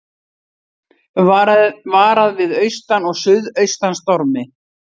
Varað við austan og suðaustan stormi